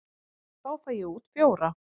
Þá fæ ég út fjóra.